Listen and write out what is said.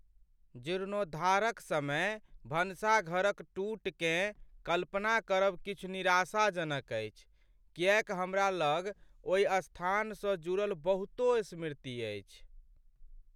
जीर्णोद्धारक समय भनसाघर क टूटकेँ कल्पना करब किछु निराशाजनक अछि, किएक हमरा लग ओहि स्थानसँ जुड़ल बहुतों स्मृति अछि।